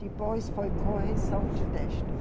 Depois foi correção de texto.